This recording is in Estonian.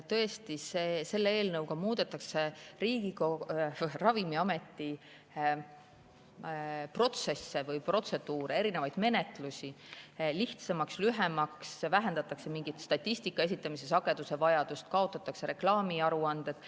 Tõesti, selle eelnõu kohaselt muudetakse Ravimiameti protseduure, erinevaid menetlusi lihtsamaks, lühemaks, vähendatakse mingi statistika esitamise sagedust, kaotatakse reklaamiaruanded.